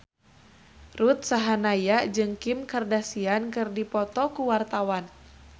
Ruth Sahanaya jeung Kim Kardashian keur dipoto ku wartawan